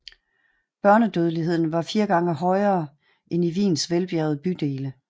Børnedødeligheden var fire gange højere end i Wiens velbjergede bydele